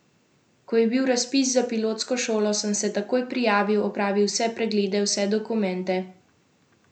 Ko je bil razpis za pilotsko šolo, sem se takoj prijavil, opravil vse preglede, vse dokumente sem imel.